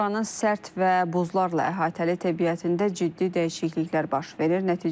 Buranın sərt və buzlarla əhatəli təbiətində ciddi dəyişikliklər baş verir.